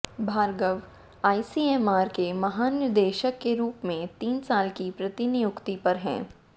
Bhargava ICMR के महानिदेशक के रूप में तीन साल की प्रतिनियुक्ति पर हैं